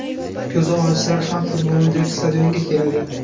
Ko‘zi ojizlar ham futbolni deb stadionga keladi.